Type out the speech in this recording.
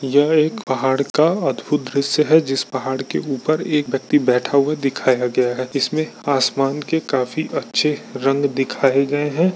यह एक पहाड़ का अद्भुत दृश्य है जिस पहाड़ के ऊपर एक व्यक्ति बैठा हुआ दिखाया गया है इसमें आसमान के काफी अच्छे रंग दिखाए गए है।